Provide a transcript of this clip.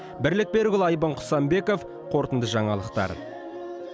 бірлік берікұлы айбын құсанбеков қорытынды жаңалықтар